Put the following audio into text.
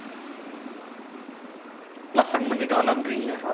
நல்லா fun பண்ணிட்டு வரலான்றீங்க.